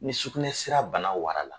Ni sukunɛ sira bana wara la